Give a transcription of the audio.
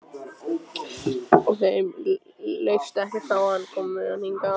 Þeim leist ekkert á hann og komu með hann hingað.